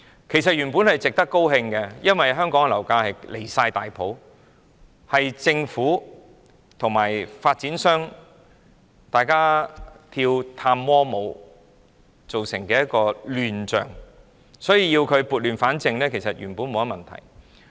其實，這原本是值得高興的，因為香港的樓價十分離譜，是政府與發展商一起跳探戈舞造成的亂象，所以要撥亂反正，原本沒有甚麼問題。